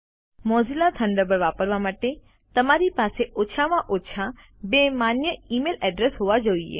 Mozilla Thunderbird વાપરવા માટે તમારી પાસે ઓછામાં ઓછા બે માન્ય ઈમેઈલ અડ્રેસ હોવા જોઈએ